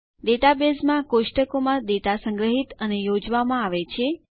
ડેટાબેઝમાં કોષ્ટકો માં ડેટા સંગ્રહિત અને યોજવામાં આવે છે